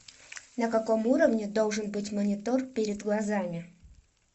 на каком уровне должен быть монитор перед глазами